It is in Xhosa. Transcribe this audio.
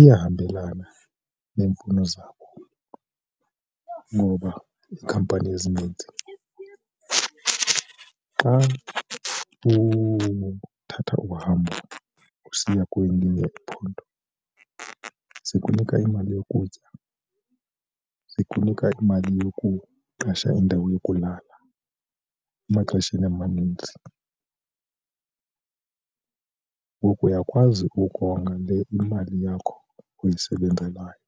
Iyahambelana neemfuno zabo ngoba iikhampani ezininzi xa uthatha uhambo usiya kwelinye iphondo zikunika imali yokutya, zikunika imali yokuqesha indawo yokulala emaxesheni amanintsi. Ngoku uyakwazi ukonga le imali yakho oyisebenzelayo.